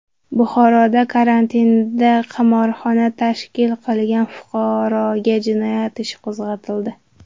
Buxoroda karantinda qimorxona tashkil qilgan fuqaroga jinoyat ishi qo‘zg‘atildi.